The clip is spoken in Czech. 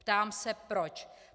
Ptám se proč.